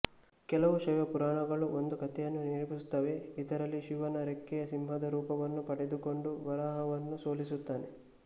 ಕೆಲವು ಶೈವ ಪುರಾಣಗಳು ಒಂದು ಕಥೆಯನ್ನು ನಿರೂಪಿಸುತ್ತವೆ ಇದರಲ್ಲಿ ಶಿವನು ರೆಕ್ಕೆಯ ಸಿಂಹದ ರೂಪವನ್ನು ಪಡೆದುಕೊಂಡು ವರಾಹವನ್ನು ಸೋಲಿಸುತ್ತಾನೆ